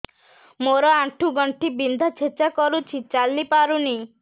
ମୋର ଆଣ୍ଠୁ ଗଣ୍ଠି ବିନ୍ଧା ଛେଚା କରୁଛି ଚାଲି ପାରୁନି